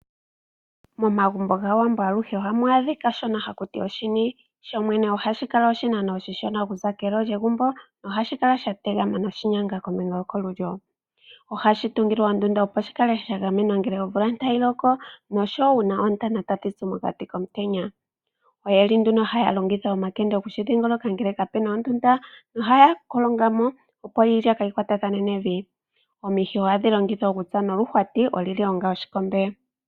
Momagumbo gwAawambo ohamu adhika aluhe oshini. Ohashi kala oshinano oshishona okuza keelo lyegumbo nohashi kala shategama noshinyanga kombinga yokolulyo. Ohashi tungilwa ondjugo opo shikale shagamenwa ngele omvula tayi loko, noshowoo uuna Oontana tadhi zi monkana komutenya. Oyeli nduno omakende okushi dhingoloka ngele kapuna ondunda. Ohaya kolongamo opo iilya kaayi kwatathene nevi. Omuhi ohagu longithwa okutsa omanga okuhwati okukomba.